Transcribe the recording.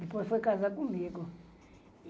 Depois foi casar comigo.